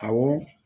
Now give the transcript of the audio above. Awɔ